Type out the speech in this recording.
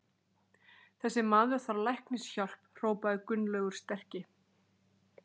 Þessi maður þarf læknishjálp hrópaði Gunnlaugur sterki.